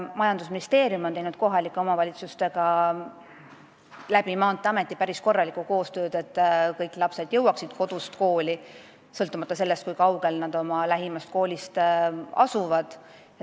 Majandusministeerium on teinud kohalike omavalitsustega Maanteeameti kaudu päris korralikku koostööd, et kõik lapsed jõuaksid kodust kooli, sõltumata sellest, kui kaugel nad oma lähimast koolist asuvad.